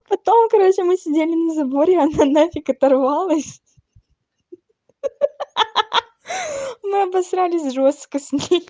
потом короче мы сидели на заборе она на фиг оторвалась ха-ха мы обосрались жёстко с ней